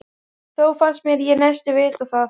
Þó fannst mér ég næstum vita það.